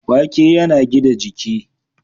Wake yana gida jiki.